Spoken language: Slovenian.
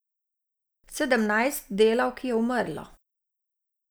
Sedemnajst delavk je umrlo.